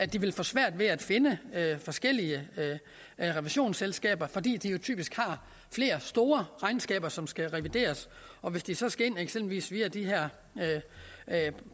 de vil få svært ved at finde forskellige revisionsselskaber fordi disse jo typisk har flere store regnskaber som skal revideres og hvis de så skal ind eksempelvis via de her